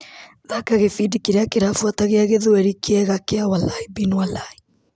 Thaka gĩbindi kĩrĩa kĩrabuata gĩa gĩthweri kiega kia walaĩ bĩnĩ walaĩ.